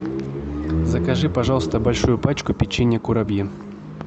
закажи пожалуйста большую пачку печенья курабье